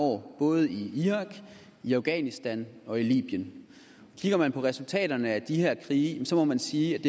år både i irak i afghanistan og i libyen kigger man på resultaterne af de her krige må man sige at